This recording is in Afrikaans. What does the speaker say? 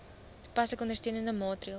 toepaslike ondersteunende maatreëls